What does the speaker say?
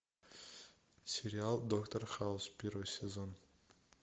сериал доктор хаус первый сезон